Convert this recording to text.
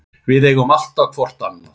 Við eigum alltaf hvort annað.